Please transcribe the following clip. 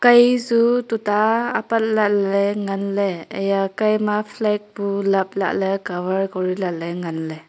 kei chu tuta apat lahley nganley eya kei ma flag bu lap lahley cover kori lahley nganley.